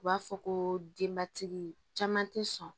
U b'a fɔ ko denbatigi caman tɛ sɔn